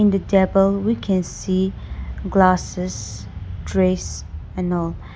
The table we can see glasses trays and all